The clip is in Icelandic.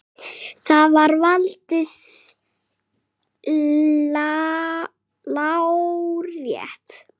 Þar er valdið lárétt.